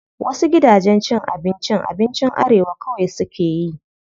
Wasu gidajen cin abincin abinci arewa kawai suke yi.